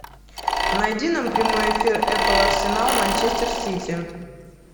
найди нам прямой эфир апл арсенал манчестер сити